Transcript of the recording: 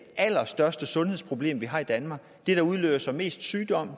allerstørste sundhedsproblem vi har i danmark det udløser mest sygdom